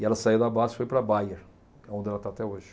E ela saiu da Basfe e foi para a Bayer, é onde ela está até hoje.